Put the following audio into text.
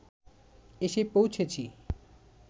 এসে পৌঁছেছি